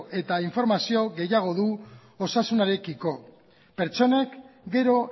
eta informazio gehiago du osasunarekiko pertsonak gero